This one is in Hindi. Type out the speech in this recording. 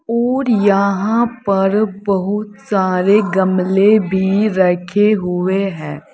और यहां पर बहुत सारे गमले भी रखे हुए हैं।